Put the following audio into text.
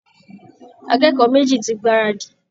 Akẹ́kọ̀ọ́ méjì ti gbáradì